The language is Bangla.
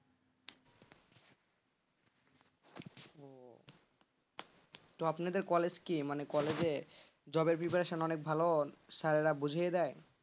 তো আপনাদের কলেজ কি মানে কলেজে jobpreparation অনেক ভালো স্যাররা বুঝিয়ে দেয়,